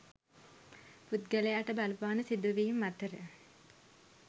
පුද්ගලයාට බලපාන සිදුවීම් අතර